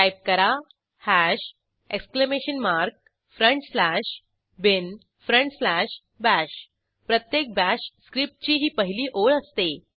type करा hash exclamation mark front slash bin front slash bash प्रत्येक bash स्क्रिप्टची ही पहिली ओळ असते